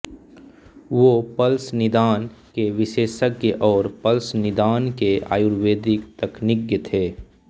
वो पल्स निदान के विशेषज्ञ और पल्स निदान के आयुर्वेदिक तकनिज्ञ थे